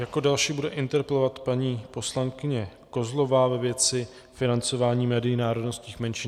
Jako další bude interpelovat paní poslankyně Kozlová ve věci financování médií národnostních menšin.